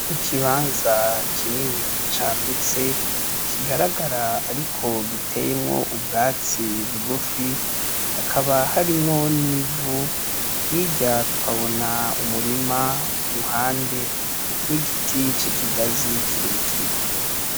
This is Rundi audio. Ikibanza kinini cagutse kigaragara ariko giteyemwo ubwatsi bugufi, hakaba harimwo nivu hirya tukabona umurima iruhande n'igiti c'ikigazi kirekire.